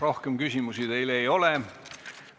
Rohkem küsimusi teile ei ole.